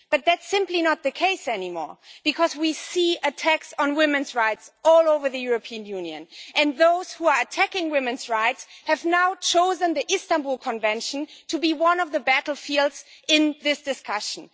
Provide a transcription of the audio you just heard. That is simply not the case anymore, because we see attacks on women's rights all over the European Union and those who are attacking women's rights have now chosen the Istanbul Convention as one of the battlefields in this discussion.